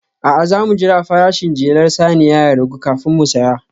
A'a, za mu jira farashin jelar saniya ya ragu kafin mu saya